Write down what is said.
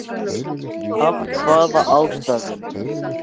Af hvaða ástæðum??????